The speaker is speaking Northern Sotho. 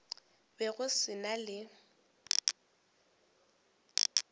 be go se na le